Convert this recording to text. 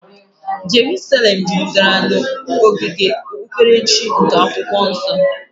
Jeruselem juputara na saịtị okpukperechi nke Akwụkwọ Nsọ.